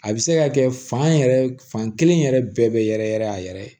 A bɛ se ka kɛ fan yɛrɛ fan kelen yɛrɛ bɛɛ bɛ yɛrɛ yɛrɛ a yɛrɛ ye